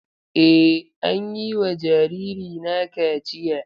Eh, an yi wa jaririna kaciya.